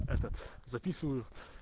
записываю